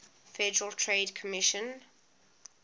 federal trade commission